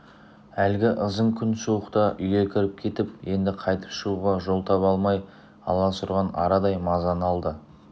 әлгі ызың күн суықта үйге кіріп кетіп енді қайтып шығуға жол таба алмай аласұрған арадай мазаны алды